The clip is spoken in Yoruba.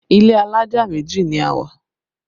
Ilé alájà méjì ni a wà